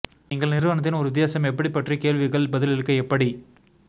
நீங்கள் நிறுவனத்தின் ஒரு வித்தியாசம் எப்படி பற்றி கேள்விகள் பதிலளிக்க எப்படி